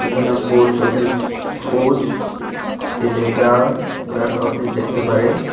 এখানে post office post telegraph office দেখতে পারেন।